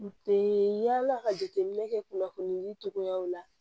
yala ka jateminɛ kɛ kunnafoni cogoyaw la